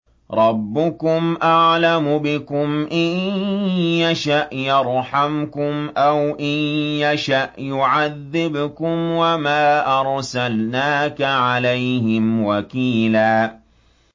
رَّبُّكُمْ أَعْلَمُ بِكُمْ ۖ إِن يَشَأْ يَرْحَمْكُمْ أَوْ إِن يَشَأْ يُعَذِّبْكُمْ ۚ وَمَا أَرْسَلْنَاكَ عَلَيْهِمْ وَكِيلًا